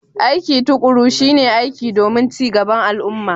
Aiki tuƙuru shi ne aiki domin cin gaban al'umma.